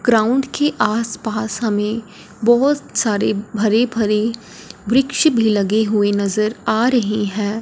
Ground के आस पास हमें बहोत सारे हरे भरे वृक्ष भी लगे हुए नजर आ रहे हैं।